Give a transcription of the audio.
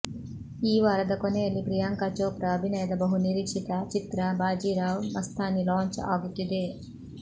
ಈ ವಾರದ ಕೊನೆಯಲ್ಲಿ ಪ್ರಿಯಾಂಕ ಚೋಪ್ರ ಅಭಿನಯದ ಬಹು ನಿರೀಕ್ಷಿತ ಚಿತ್ರ ಬಾಜಿ ರಾವ್ ಮಸ್ತಾನಿ ಲಾಂಚ್ ಆಗುತ್ತಿದೆ